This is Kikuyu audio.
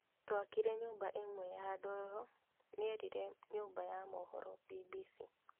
Twakire nyũmba ĩmwe ya ndoro, nĩerire nyũmba ya mohoro BBC